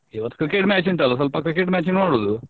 ಇವತ್ತು cricket match ಉಂಟಲ್ಲ ಸ್ವಲ್ಪ cricket match ನೋಡುದು.